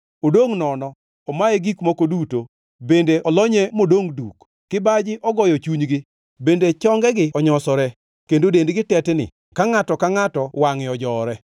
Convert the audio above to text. Odongʼ nono, omaye gik moko duto, bende olonye modongʼ duk. Kibaji ogoyo chunygi, bende chongegi onyosere, kendo dendgi tetni ka ngʼato ka ngʼato wangʼe ojowore.